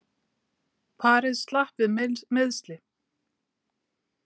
Parið slapp við meiðsli